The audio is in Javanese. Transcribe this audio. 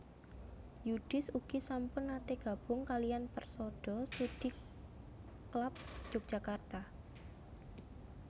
Yudhis ugi sampun nate gabung kaliyan Persada Studi Klub Yogyakarta